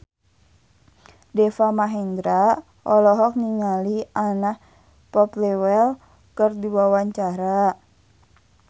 Deva Mahendra olohok ningali Anna Popplewell keur diwawancara